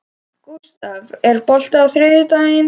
Gústaf, er bolti á þriðjudaginn?